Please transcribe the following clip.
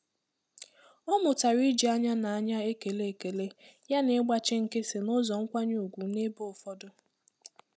Ọ mụtara iji ányá na ányá ékélé ekele yá na ịgbachi nkịtị n'ụzọ nkwanye ùgwù n'ebe ụfọdụ.